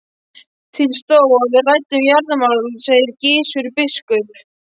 Til stóð að við ræddum jarðamál, sagði Gizur biskup.